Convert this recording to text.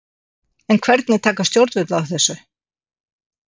En hvernig taka stjórnvöld þessu?